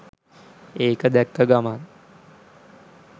ඒක දැක්ක ගමන්